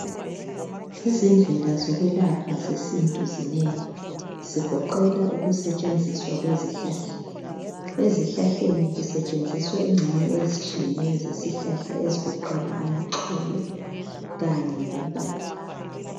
Izindlela zokwelapha zesintu zinengi. Zigoqela ukusetshenziswa kwezihlahla. Ezihlahleni kusetshenziswa ingxenye ezitshiyeneyo zesihlahla ezigoqela amaxolo kanye lempande.